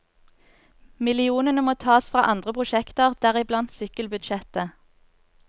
Millionene må tas fra andre prosjekter, deriblant sykkelbudsjettet.